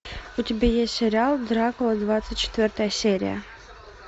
у тебя есть сериал дракула двадцать четвертая серия